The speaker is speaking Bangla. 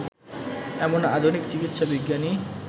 এমন আধুনিক চিকিৎসাবিজ্ঞানী